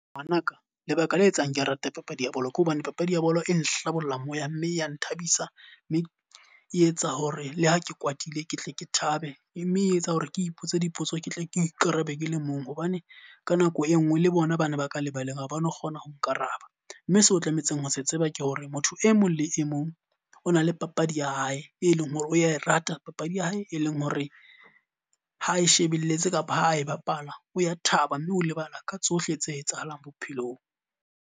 Ngwanaka lebaka le etsang ke rate papadi ya bolo, ke hobane papadi ya bolo e nhlabollang moya mme ya nthabisa. Mme e etsa hore le ha ke kwatile ketle ke thabela. E mme e etsa hore ke ipotse dipotso ke tle ke ikarabele ke le mong, hobane ka nako e nngwe le bona bana ba ka lebaleng ha ba no kgona ho Nkaraba. Mme seo tlametseng ho se tseba ke hore motho e mong le e mong o na le papadi ya hae, e leng hore o ya e rata. Papadi ya hae e leng hore ha e shebelletse kapa ho a e bapala, o ya thaba mme o lebala ka tsohle tse etsahalang bophelong.